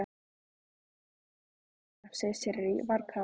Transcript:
Var það ekki fyndnara í fyrra, segir Sirrý, varkár.